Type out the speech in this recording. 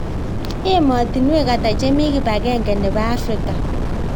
Ematinwek ata chemi kipagenge nebo africa